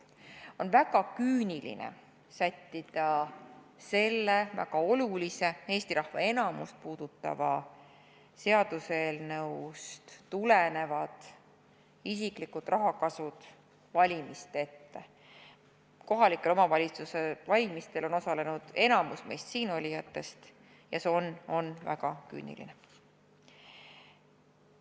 On väga küüniline sättida sellest väga olulisest, Eesti rahva enamust puudutavast seaduseelnõust tulenevad isiklikud rahakasud valimiste ette , see on väga küüniline.